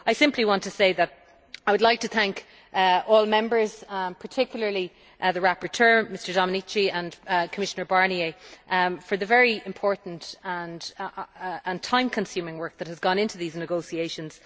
I simply want to say that I would like to thank all Members, particularly the rapporteur, Mr Domenici, and Commissioner Barnier for the very important and time consuming work that has gone into these negotiations.